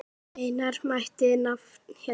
Eina mætti nefna hér.